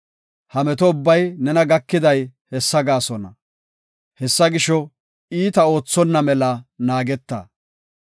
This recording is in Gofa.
Ha meto ubbay nena gakiday hessa gaasona; hessa gisho, iita oothonna mela naageta.